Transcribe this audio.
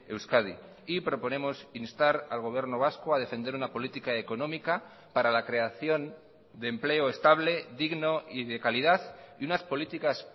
euskadi y proponemos instar al gobierno vasco a defender una política económica para la creación de empleo estable digno y de calidad y unas políticas